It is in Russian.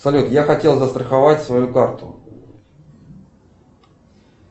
салют я хотел застраховать свою карту